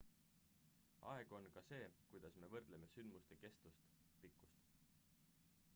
aeg on ka see kuidas me võrdleme sündmuste kestust pikkust